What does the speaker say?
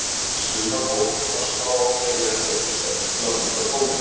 Sumar nóturnar slá á fleiri en einn streng til að mynda tóninn.